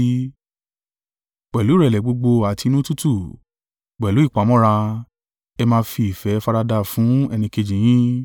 Pẹ̀lú ìrẹ̀lẹ̀ gbogbo àti inú tútù, pẹ̀lú ìpamọ́ra, ẹ máa fi ìfẹ́ faradà fún ẹnìkejì yín.